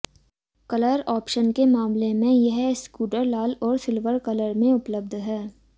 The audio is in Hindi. कलर ऑप्शन के मामले में यह स्कूटर लाल और सिल्वर कलर में उपलब्ध है